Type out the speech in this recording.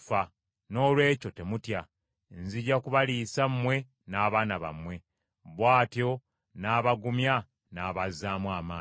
Noolwekyo temutya, nzija kubaliisa mmwe n’abaana bammwe.” Bw’atyo n’abagumya n’abazaamu amaanyi.